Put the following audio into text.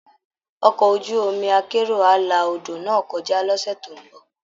Ọkọ̀ ojú omi akérò á la odò náà kọjá lọ́sẹ̀ tó ń bọ̀